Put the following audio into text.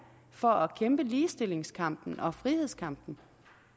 for at kæmpe ligestillingskampen og frihedskampen